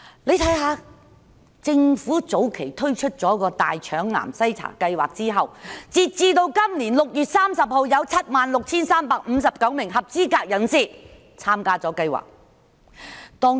你看看政府早前推出的大腸癌計劃，截至今年6月30日，有 76,359 名合資格人士參加計劃。